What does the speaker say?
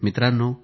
मित्रांनो